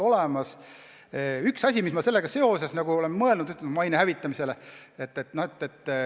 Üks asi, millele ma sellega seoses olen mõelnud, on maine hävitamine.